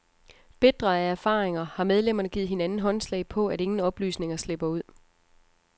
Bitre af erfaringer har medlemmerne givet hinanden håndslag på, at ingen oplysninger slipper ud.